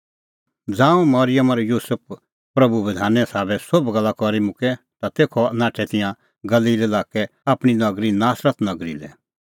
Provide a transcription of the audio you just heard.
ज़ांऊं मरिअम और युसुफ प्रभूए बधाने साबै सोभ गल्ला करी मुक्कै ता तेखअ नाठै तिंयां गलील लाक्के आपणीं नगरी नासरत नगरी लै